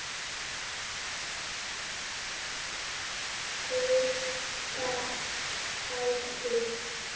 Auka fætur.